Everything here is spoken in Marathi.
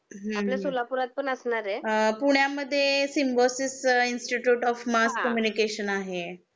हम्म हम्म आपल्या सोलापुरात पण असणार आहे पुण्या मध्ये Symbiosis institute of mass communication आहे